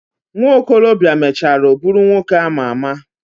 Nwokolo bia mechara buru nwoke ama ama.